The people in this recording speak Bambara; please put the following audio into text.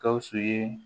Gawusu ye